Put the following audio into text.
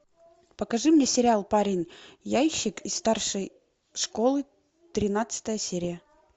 покажи мне сериал парень яойщик из старшей школы тринадцатая серия